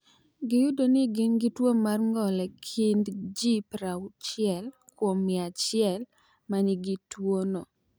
Giyudo ni gin gi tuwo mar ng’ol e kind ji 60 kuom mia achiel ma nigi tuwono.